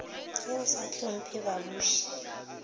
ge o sa hlopmphe babuši